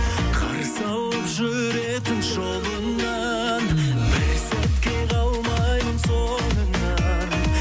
қарсы алып жүретін жолыңнан бір сәтке қалмаймын соңыңнан